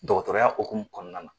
Dɔgɔtɔrɔya hukumu kɔnɔna na.